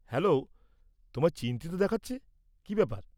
Hello, তোমায় চিন্তিত দেখাচ্ছে, কি ব্যাপার?